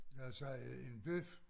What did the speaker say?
Lad os sige en bøf